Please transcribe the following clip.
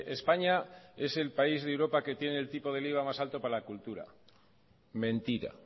españa es el país de europa que tiene el tipo del iva más alto para la cultura mentira